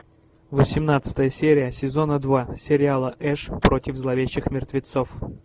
восемнадцатая серия сезона два сериала эш против зловещих мертвецов